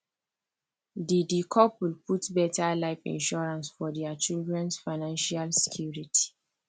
the the couple put better life insurance for their childrens financial security